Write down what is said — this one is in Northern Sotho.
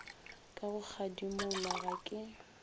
ka go kgadimola ga ke